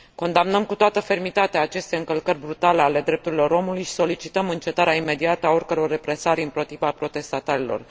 Condamnăm cu toată fermitatea aceste încălcări brutale ale drepturilor omului și solicităm încetarea imediată a oricăror represalii împotriva protestatarilor.